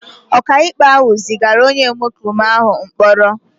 Ọkàikpe ahụ zigara onye omekome ahụ mkpọrọ.